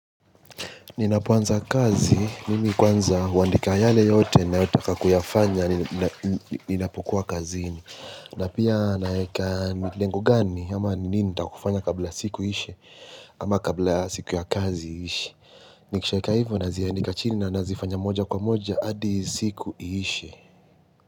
Ninapoanza kazi, mimi kwanza huandika yale yote na yota kakuyafanya, ninapukua kazi ini. Na pia naeka nilengo gani, ama nini nataka kufanya kabla siku iishe, ama kabla siku ya kazi iishe. Nikishaeka hivo nazia ndika chini na nazifanya moja kwa moja, adi siku iishe.